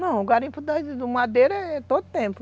Não, o garimpo do da madeira é todo tempo.